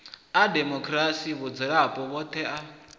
a demokirasi vhadzulapo vhoṱhe a